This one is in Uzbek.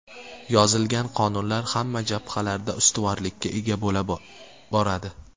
Yozilgan qonunlar hamma jabhalarda ustuvorlikka ega bo‘la boradi.